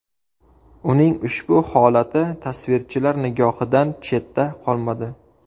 Uning ushbu holati tasvirchilar nigohidan chetda qolmadi.